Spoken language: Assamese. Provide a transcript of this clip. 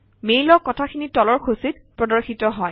মেইলৰ কথাখিনি তলৰ সূচীত প্ৰদৰ্শিত হয়